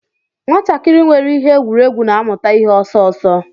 Nwatakịrị nwere ihe egwuregwu na-amụta ihe ọsọ ọsọ.